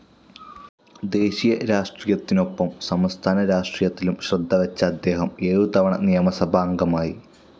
ദേശീയ രാഷ്ട്രീയത്തിനൊപ്പം സംസ്ഥാനരാഷ്ട്രീയത്തിലും ശ്രദ്ധവെച്ച അദ്ദേഹം ഏഴുതവണ നിയമസഭാംഗമായി.